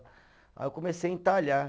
Aí eu comecei a entalhar.